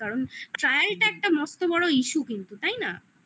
কারণ trial টা একটা মস্ত বড়ো issue কিন্তু তাই না